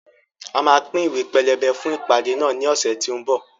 A máa pín Ìwé pelebe fún ìpàdé náà ní ọ̀sẹ̀ tí ó ń bọ̀